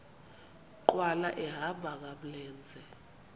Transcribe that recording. nkqwala ehamba ngamlenze